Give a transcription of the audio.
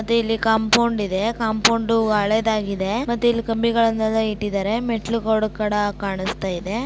ಮತ್ತೆ ಇಲ್ಲಿ ಕಾಂಪೌಂಡ್ ಇದೆ-- ಕಾಂಪೌಂಡ್ ಹಳೇದಾಗಿದೆ. ಇ ಟ್ಟಿದ್ದಾರೆ ಮೇ ಟ್ಟಲುಗಳು ಕೂಡ ಕಾಣಿಸ್ತಾ ಇದೆ.